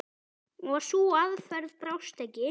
Og sú aðferð brást ekki.